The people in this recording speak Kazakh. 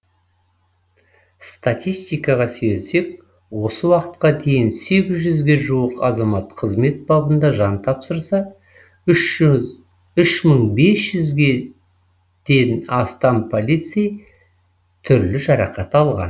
статистикаға сүйенсек осы уақытқа дейін сегіз жүзге жуық азамат қызмет бабында жан тапсырса үш жүз үш мың бес жүзден астам полицей түрлі жарақат алған